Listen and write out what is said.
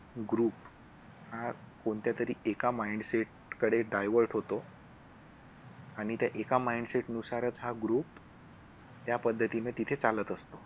group हा कोणत्यातरी एका mindset कडे divert होतो आणि त्या एका mindset नुसारच हा group त्या पद्धतीने तिथे चालत असतो.